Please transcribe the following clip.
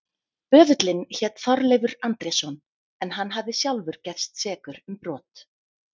Böðullinn hét Þorleifur Andrésson en hann hafði sjálfur gerst sekur um brot.